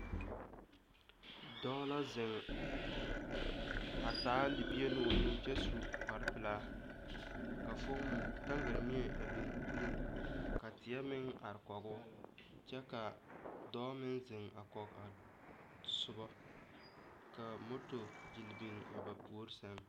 Dɔɔ la zeŋ a taa libie ne o nu kyɛ su kparepelaa ka foomo taŋgaremie a biŋ o puliŋ ka teɛ meŋ are kɔge o kyɛ ka dɔɔ meŋ zeŋ a kɔge a soba ka motor gyelle biŋ a ba puori sɛŋ.